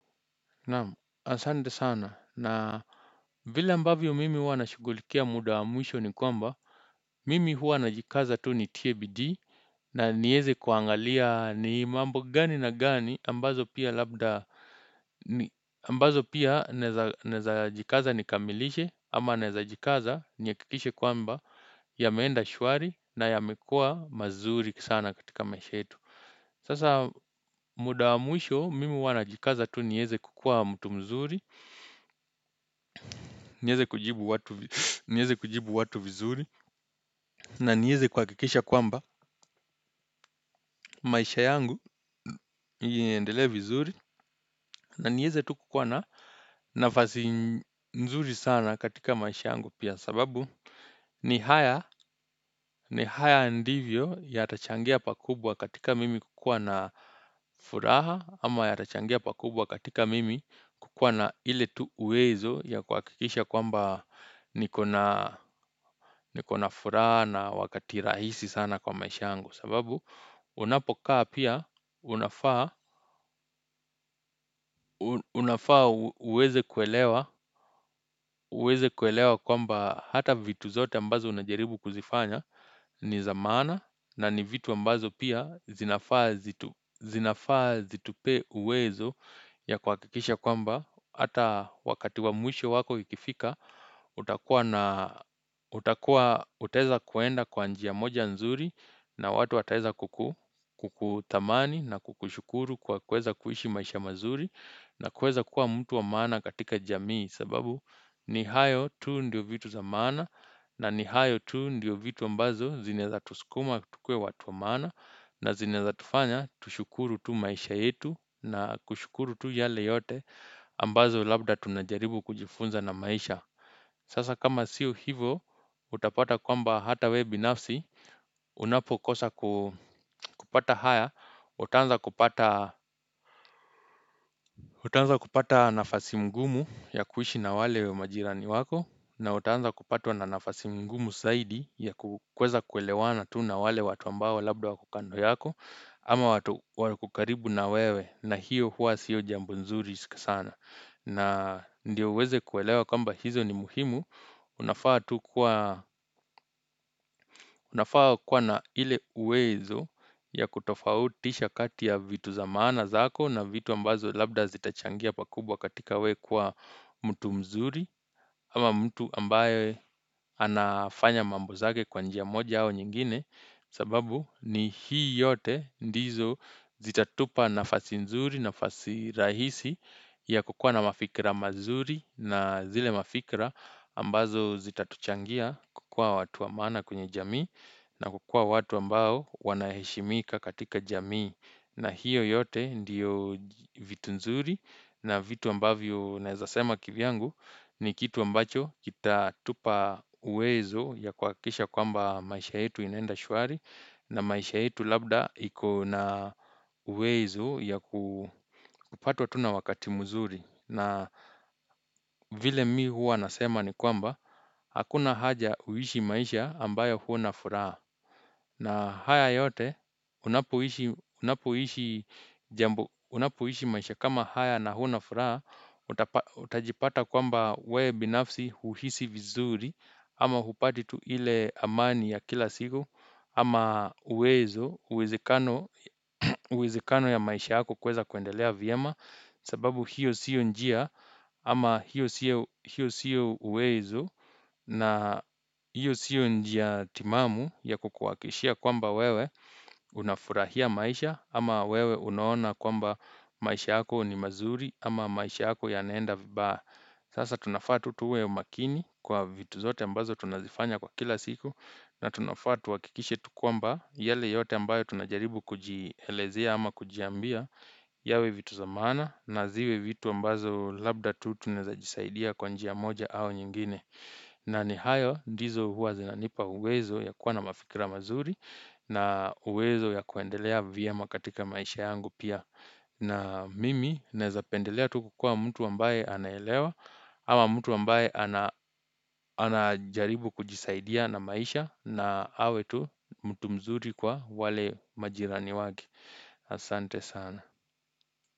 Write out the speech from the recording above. Naam, asante sana na vile ambavyo mimi huwa nashughulikia muda wa mwisho ni kwamba Mimi huwa najikaza tu nitie bidii na niweze kuangalia ni mambo gani na gani ambazo pia labda ambazo pia naweza jikaza nikamilishe ama newezajikaza nihakikishe kwamba yameenda shwari na yamekuwa mazuri sana katika maisha yetu Sasa muda wa mwisho mimi huwa najikaza tu nieze kuwa mtu mzuri, niweze kujibu watu vizuri na nieze kuhakikisha kwamba maisha yangu yaendelee vizuri na niweze tu kuwa na nafasi nzuri sana katika maisha yangu pia sababu ni haya, ni haya ndivyo yatachangia pakubwa katika mimi kukuwa na furaha ama yatachangia pakubwa katika mimi kuwa na ile tu uwezo ya kuhakikisha kwamba nikona furaha na wakati rahisi sana kwa maisha yangu. Sababu unapokaa pia unafaa uweze kuelewa kwamba hata vitu zote ambazo unajaribu kuzifanya ni za maana na ni vitu ambazo pia zinafaa zitupee uwezo ya kwa kuhakikisha kwamba Hata wakati wa mwisho wako ukifika, utakuwa na, utakuwa, utaeza kwenda kwa njia moja nzuri na watu wataeza kukuthamani na kukushukuru kwa kuweza kuishi maisha mazuri na kuweza kuwa mtu wa maana katika jamii sababu ni hayo tu ndio vitu za maana na ni hayo tu ndio vitu ambazo zineza tusukuma tukuwe watu wa maana na zinaeza tufanya tushukuru tu maisha yetu na kushukuru tu yale yote. Ambazo labda tunajaribu kujifunza na maisha. Sasa kama sio hivo, utapata kwamba hata wewe binafsi, unapokosa kupata haya, utaanza kupata nafasi ngumu ya kuishi na wale majirani wako. Na utaanza kupatwa na nafasi ngumu zaidi ya kuweza kuelewana tu na wale watu ambao labda wako kando yako, ama watu wako karibu na wewe na hiyo hua siyo jambo zuri sana. Na ndiyo uweze kuelewa kwamba hizo ni muhimu unafaa kuwa na ile uwezo ya kutofautisha kati ya vitu za maana zako na vitu ambazo labda zitachangia pakubwa katika wewe kuwa mtu mzuri ama mtu ambaye anafanya mambo zake kwa njia moja au nyingine. Sababu ni hii yote ndizo zitatupa nafasi nzuri nafasi rahisi ya kukuwa na mafikra mazuri na zile mafikra ambazo zitatuchangia kukuwa watu wa maana kwenye jamii na kukuwa watu ambao wanaheshimika katika jamii. Na hiyo yote ndiyo vitu nzuri na vitu ambavyo naeza sema kivyangu ni kitu ambacho kitatupa uwezo wa kuhakikisha kwamba maisha yetu inenda shwari na maisha yetu labda ikona uwezo ya kupatwa tu na wakati mzuri. Na vile mimi huwa nasema ni kwamba, hakuna haja ya kuishi maisha ambayo huna furaha. Na haya yote, unapoishi maisha kama haya na huna furaha, utajipata kwamba wewe binafsi huhisi vizuri, ama hupati tu ile amani ya kila siku, ama uwezo uwezekano wa maisha yako kuweza kuendelea vyema, sababu hiyo sio njia ama hiyo sio uwezo na hiyo siyo njia timamu ya kukuhakikishia kwamba wewe unafurahia maisha ama wewe unaona kwamba maisha yako ni mazuri ama maisha yako yanaenda vibaya. Sasa tunafaa tu tuwe makini kwa vitu zote ambazo tunazifanya kwa kila siku na tunafaa tuhakikishe tu kwamba yale yote ambayo tunajaribu kujielezea ama kujiambia yawe vitu za maana na ziwe vitu ambazo labda tu tunaeza jisaidia kwa njia moja au nyingine na ni hayo ndizo huwa zinanipa uwezo wa kuwa na mafikira mazuri na uwezo ya kuendelea vyema katika maisha yangu pia na mimi naeza pendelea tu kukuwa mtu ambaye anaelewa Ama mtu ambaye anajaribu kujisaidia na maisha na awe tu mtu mzuri kwa wale majirani wake asante sana.